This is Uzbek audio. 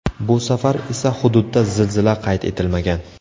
Bu safar esa hududda zilzila qayd etilmagan.